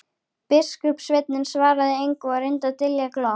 Biskupssveinninn svaraði engu og reyndi að dylja glott.